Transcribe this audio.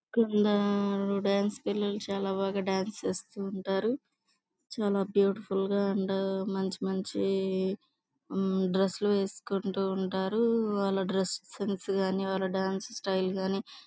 dance పిల్లలు చాలా బాగా డాన్స్ చేస్తూ ఉంటారు చాలా బీయూటిఫుల్ గ అండ్ మంచి మంచి డ్రెస్సేలు వేసుకుంటూ ఉంటరు వాలు డ్రెస్సెస్ సెన్స్ గాని వాలా డాన్స్ స్టైల్ గాని--